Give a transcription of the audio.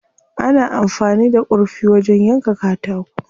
Ana amfani da kurfi wajen yanka katako.